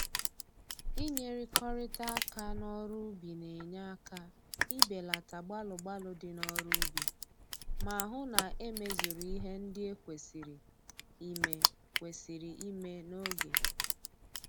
Inyerikọrịta aka n'ọrụ ubi na-enye aka ibelata gbalụ gbalụ dị n'ọrụ ubi ma hụ na e mezuru ihe ndị e kwesịrị ime kwesịrị ime n'oge